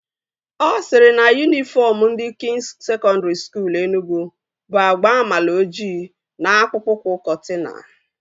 Ọ sịrị na yunifọm ndị Kwịns Sekọndri Skuul Enugwu bụ agba amaloji na akpụkpọ ụkwụ kọtina